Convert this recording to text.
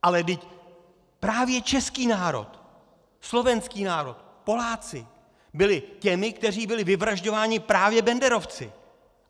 Ale vždyť právě český národ, slovenský národ, Poláci byli těmi, kteří byli vyvražďováni právě banderovci.